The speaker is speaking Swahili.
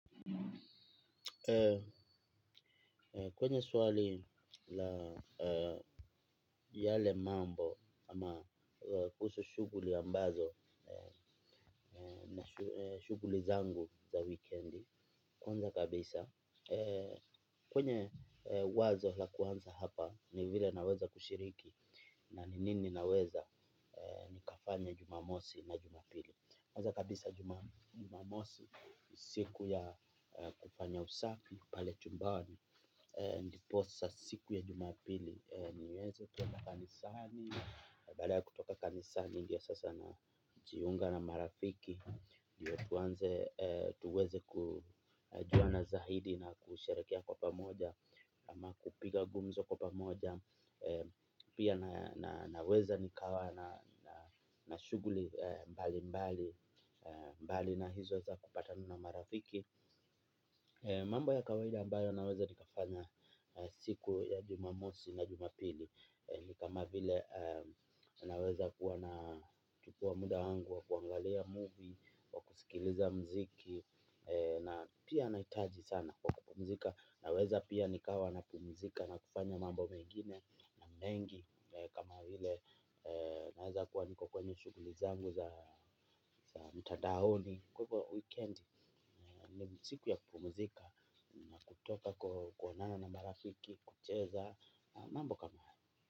Kwenye swali la yale mambo ama kuhusu shughuli ambazo, shughuli zangu za weekendi, kwanza kabisa kwenye wazo la kuanza hapa ni vile naweza kushiriki na ni nini naweza nikafanya jumamosi na jumapili. Kwanza kabisa jumamosi, ni siku ya kufanya usafi, pale chumbani. Ndipo sa siku ya jumapili, niweze kwenda kanisani. Baada ya kutoka kanisani, ndio sasa na jiunga na marafiki. Ndio tuanze tuweze kujua na zahidi na kusherekea kwa pamoja. Ama kupiga gumzo kwa pamoja. Pia naweza nikawa na shughuli mbali mbali. Mbali na hizo za kupatana na marafiki. Mambo ya kawaida ambayo naweza nikafanya siku ya jumamosi na jumapili. Ni kama vile naweza kuwa na chukua muda wangu wa kuangalia movie wa kusikiliza mziki na pia nahitaji sana wa kupumzika. Naweza pia nikawa na pumzika na kufanya mambo mengine na mengi. Kama vile naweza kuwa niko kwenye shugulizangu za mtadaoni. Kwa hivo weekendi siku ya kupumuzika na kutoka koo kuonana na marafiki kucheza na mambo kama hayo.